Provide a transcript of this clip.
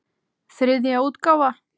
Þriðja útgáfa.